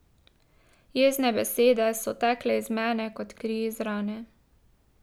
Jezne besede so tekle iz mene kot kri iz rane.